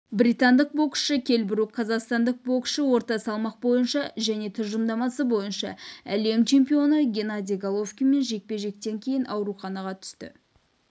британдық боксшы келл брук қазақстандық боксшы орта салмақ бойынша және тұжырымдамасы бойынша әлем чемпионы геннадий головкинмен жекпе-жектен кейін ауруханаға түсті